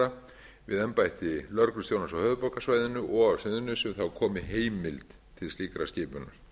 aðstoðarlögreglustjóra við embætti lögreglustjóra á höfuðborgarsvæðinu og á suðurnesjum þá komi heimild til slíkrar skipunar